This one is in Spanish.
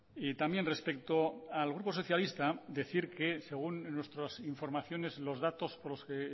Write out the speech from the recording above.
y también respecto al grupo socialista decir que según nuestras informaciones los datos por los que